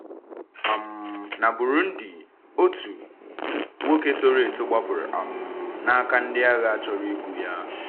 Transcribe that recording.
um Na Burundi, otu nwoke toro eto gbapụrụ um n’aka ndị agha chọrọ igbu ya.